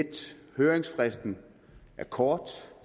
høringsfristen er kort og